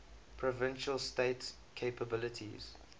provincial state capabilities